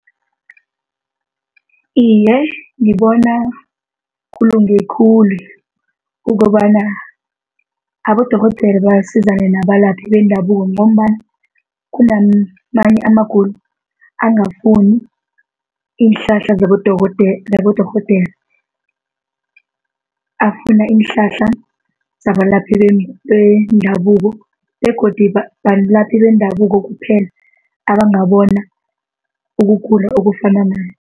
Iye, ngibona kulunge khulu ukobana abodorhodera basizane nabalaphi bendabuko ngombana kunamanye amagulo angafuni iinhlahla zabodorhodera. Afuna iinhlahla zabalaphi bendabuko begodu balaphi bendabuko kuphela abangabona ukugula okufana naye.